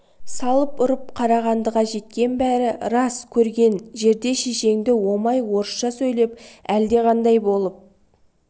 салып ұрып қарағандыға жеткен бәрі рас көрген жерде шешеңді омай орысша сөйлеп әлдеқандай болып